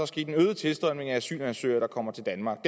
sket en øget tilstrømning af asylansøgere der kommer til danmark og